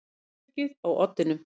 Með öryggið á oddinum